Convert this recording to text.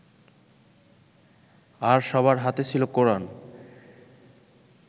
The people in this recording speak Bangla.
আর সবার হাতে ছিল কোরান